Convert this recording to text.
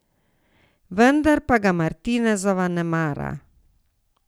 Vendar pa ga Martinezova ne mara.